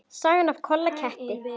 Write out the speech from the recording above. Sagan af Kolla ketti.